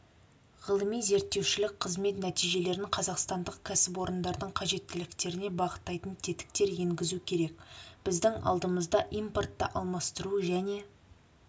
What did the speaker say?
ғылыми-зерттеушілік қызмет нәтижелерін қазақстандық кәсіпорындардың қажеттіліктеріне бағыттайтын тетіктер енгізу керек біздің алдымызда импортты алмастыру және